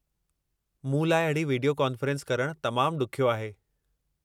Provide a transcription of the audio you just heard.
मूं लाइ अहिड़ी विडियो कॉनफेरेन्स करणु तमामु ॾुखियो आहे।